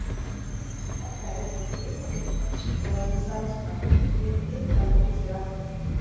Þetta er eins og svitakirtlar, sagði sú sænska og lét bitann út úr sér aftur.